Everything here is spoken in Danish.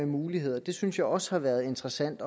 muligheder synes jeg også har været interessant